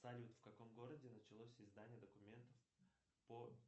салют в каком городе началось издание документов по